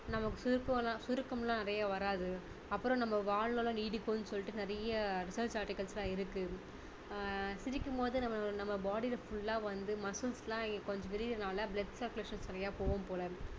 நமக்கு சுருக்கம்~சுருக்கம்லாம் நிறைய வராது அப்பறம் நம்ம வாழ்வெல்லாம் நீடிக்கும்னு சொல்லிட்டு நிறைய research articles லாம் இருக்கு அஹ் சிரிக்கும் போது நம்ம நம்ம body ல full லா வந்து muscles லாம் கொஞ்சம் விரியுறதுனால blood circulations லாம் சரியா போகும் போல